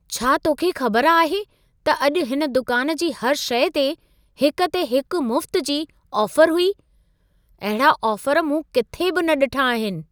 छा तोखे ख़बर आहे त अॼु हिन दुकान जी हर शइ ते हिक ते हिकु मुफ्त जी ऑफर हुई? अहिड़ा ऑफर मूं किथे बि न ॾिठा आहिनि।